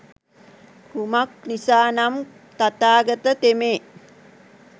කුමක් නිසා නම් තථාගත තෙමේ